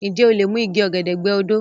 Ǹjẹ́ o lè mi igi ọ̀gẹ̀dẹ̀ gbẹ́ odó?